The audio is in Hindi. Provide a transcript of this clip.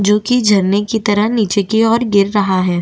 जो कि झरने की तरह नीचे की ओर गिर रहा है।